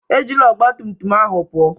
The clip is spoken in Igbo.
Ejila ọgbatumtum ahụ pụọ!